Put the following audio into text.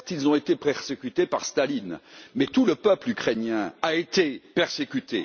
Certes, ils ont été persécutés par Staline, mais tout le peuple ukrainien a été persécuté.